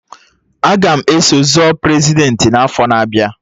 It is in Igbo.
Aga m eso zọ Prezidentị n'afọ na-abịa